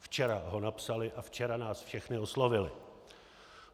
Včera ho napsali a včera nás všechny oslovili.